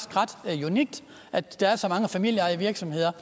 unikt at der er så mange familieejede virksomheder